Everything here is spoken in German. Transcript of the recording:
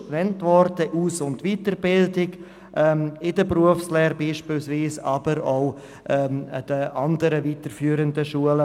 Anschliessend folgt die Aus- und Weiterbildung, also zum Beispiel die Berufsschulen oder die weiterführenden Schulen.